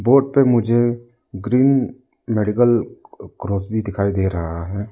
Board पे मुझे green medical cross भी दिखाई दे रहा है।